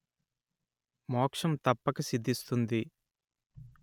మోక్షం తప్పక సిద్ధిస్తుంది